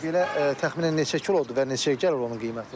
Yəni belə təxminən neçə kilo olurdu və neçəyə gəlir onun qiyməti?